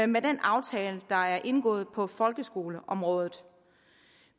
med den aftale der er indgået på folkeskoleområdet